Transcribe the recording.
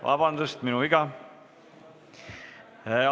Vabandust, minu viga!